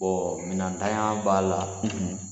Bɔɔ minɛntanya b'a la.